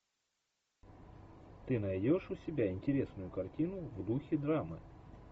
ты найдешь у себя интересную картину в духе драма